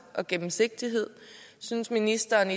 og gennemsigtighed synes ministeren at